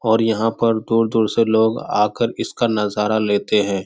और यहाँ पर दूर-दूर से लोग आकर इसका नज़ारा लेते हैं।